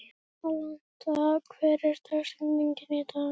Alanta, hver er dagsetningin í dag?